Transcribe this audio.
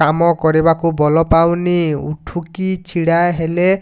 କାମ କରିବାକୁ ବଳ ପାଉନି ଉଠିକି ଛିଡା ହେଲା